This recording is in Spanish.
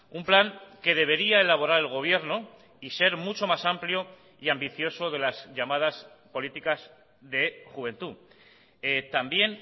un plan que debería elaborar el gobierno y ser mucho más amplio y ambicioso de las llamadas políticas de juventud también